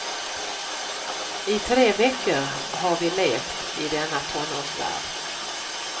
I tre veckor har vi levt i denna tonårsvärld.